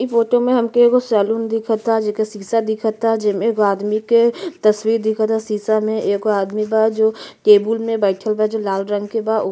इ फोटो में हमके एगो सैलून दिखता जेके शीशा दिखता जेमें एगो आदमी के तस्बीर दिखता शीशा में एगो आदमी बा जो टेबुल में बईठल बा जो लाल रंग के बा।